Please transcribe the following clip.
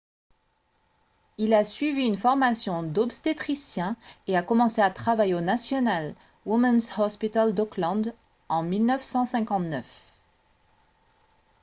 il a suivi une formation d'obstétricien et a commencé à travailler au national women's hospital d'auckland en 1959